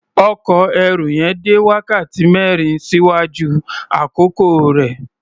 Ọkọ̀ ẹrù yẹn dé wákàtí mẹ́rin ṣíwájú àkókò rẹ̀.